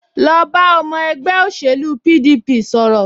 Lọ bá ọmọ ẹgbẹ́ òṣèlú PDP sọ̀rọ̀